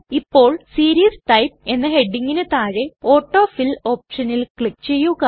ഇപ്പോൾ series type എന്ന ഹെഡിംഗിന് താഴെ ഓട്ടോഫിൽ ഓപ്ഷനിൽ ക്ലിക് ചെയ്യുക